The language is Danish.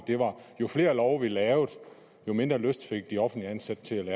jo flere love vi lavede jo mindre lyst fik de offentligt ansatte til